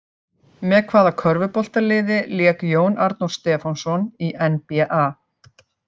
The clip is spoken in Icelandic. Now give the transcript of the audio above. Með hvaða körfuboltaliði lék Jón Arnór Stefánsson í NBA?